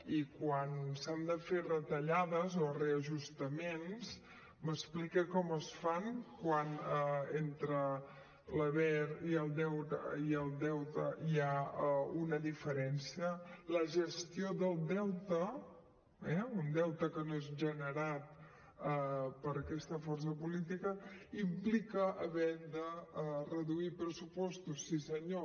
i quan s’han de fer retallades o reajustaments m’explica com es fan quan entre l’haver i el deure hi ha una diferència la gestió del deute eh un deute que no és generat per aquesta força política implica haver de reduir pressupostos sí senyor